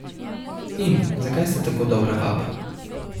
In zakaj ste tako dobra vaba?